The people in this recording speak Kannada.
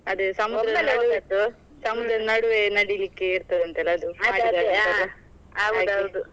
ಅದೇ ಸಮುದ್ರದ ನಡುವೆ ನಡಿಲಿಕ್ಕೆ ಇರ್ತದಂತೆ ಅಲ್ಲ ಅದು .